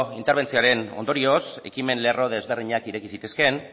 interbentzioaren ondorioz ekimen lerro ezberdinak ireki zitezkeen